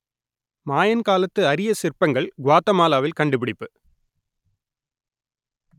மாயன் காலத்து அரிய சிற்பங்கள் குவாத்தமாலாவில் கண்டுபிடிப்பு